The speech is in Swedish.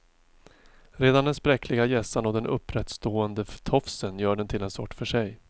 Redan den spräckliga hjässan och den upprättstående tofsen gör den till en sort för sig.